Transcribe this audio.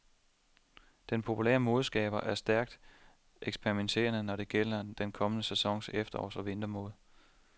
Den populære modeskaber er stærkt eksperimenterende, når det gælder den kommende sæsons efterårs og vintermode.